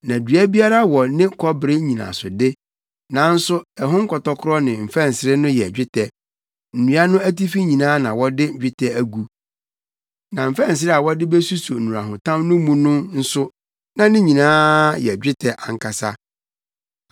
Na dua biara wɔ ne kɔbere nnyinasode, nanso ɛho nkɔtɔkoro ne mfɛnsere no yɛ dwetɛ; nnua no atifi nyinaa na wɔde dwetɛ agu, na mfɛnsere a wɔde besuso nnurahotam no mu no nso, na ne nyinaa yɛ dwetɛ ankasa.